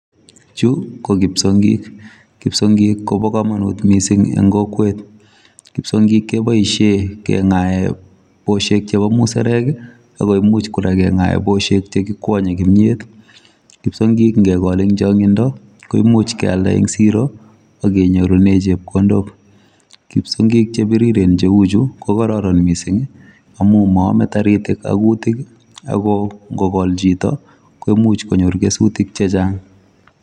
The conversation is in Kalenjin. Chu ko kipsongik. Kipsongik kobo komonut missing eng' kokwet. Kipsongik keboisie keng'ae boshek chebo musarek, akoimuch kora keng'ae boshek che kikwanye kimyet. Kipsongik ngegol eng' changindo, koimuch kealda eng' siro, akenyorune chepkondok. Kipsongik che biriren cheuchu ko kararan missing, amu maame taritik ak kutik, ako ngogol chito, koimuch konyor kesutik chechang'